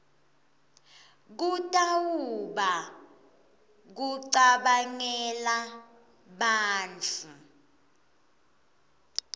kutawuba kucabangela bantfu